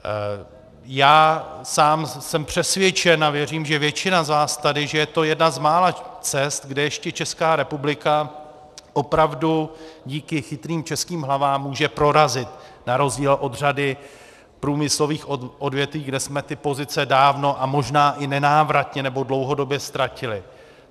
Já sám jsem přesvědčen a věřím, že většina z vás tady, že je to jedna z mála cest, kde ještě Česká republika opravdu díky chytrým českým hlavám může prorazit na rozdíl od řady průmyslových odvětví, kde jsme ty pozice dávno a možná i nenávratně nebo dlouhodobě ztratili.